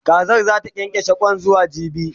Kazar zata kyankyashe Kwan zuwa jibi